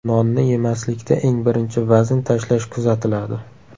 Nonni yemaslikda eng birinchi vazn tashlash kuzatiladi.